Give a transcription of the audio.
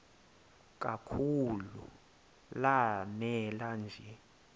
kakhulu lanela nje